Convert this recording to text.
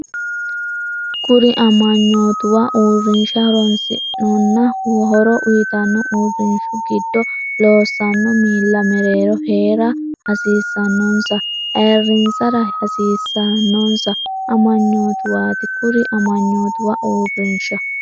Kuri amanyootuwa uurrinsha horoonsidhannonna horo uyitanno uurrinshu gid- loossanno miilla mereero hee’ra hasiissannonsanna ayirrinsara hasiis- sannonsa amanyootuwaati Kuri amanyootuwa uurrinsha.